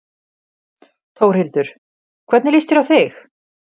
Þórhildur: Hvernig líst þér á þig?